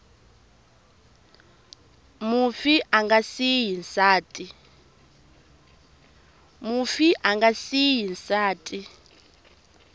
mufi a nga siyi nsati